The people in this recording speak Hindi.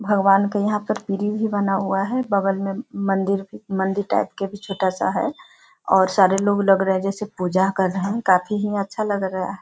भगवान का यहाँ पर भी बना हुआ है बगल में मंदिर मंदिर टाइप का भी छोटा सा है और सारे लोग लग रहे है जैसे पूजा कर रहा है काफी यहाँ अच्‍छा लग रहा हैं।